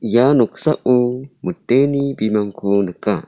ia noksao miteni bimangko nika.